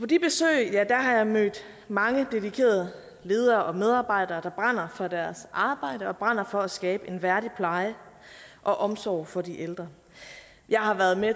de besøg har jeg mødt mange dedikerede ledere og medarbejdere der brænder for deres arbejde og brænder for at skabe en værdig pleje og omsorg for de ældre jeg har været med